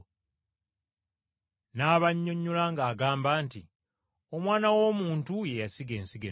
N’abannyonnyola ng’agamba nti, “Omwana w’Omuntu ye yasiga ensigo ennungi.